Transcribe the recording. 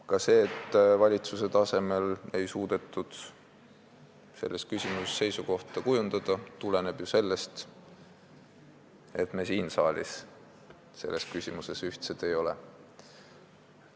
Ka see, et valitsuse tasemel ei suudetud seisukohta kujundada, tuleneb ju sellest, et me siin saalis selles küsimuses ühtsed ei ole.